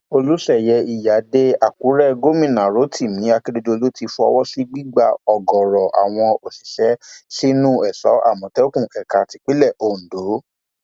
olùsẹyẹ iyíáde àkúrẹ gómìnà rotimi akérèdọlù ti fọwọ sí gbígba ọgọọrọ àwọn òṣìṣẹ sínú èso àmọtẹkùn ẹka tipińlẹ ondo